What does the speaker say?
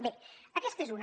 bé aquesta és una